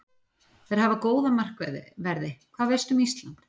Þeir hafa góða markverði Hvað veistu um Ísland?